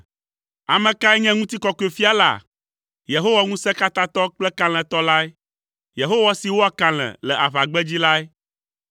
Ame kae nye Ŋutikɔkɔefia la? Yehowa ŋusẽtɔ kple kalẽtɔ lae, Yehowa si wɔa kalẽ le aʋagbedzi lae.